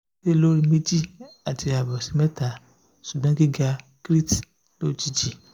se lori meji ati abo si meta sugbon giga creat lojiji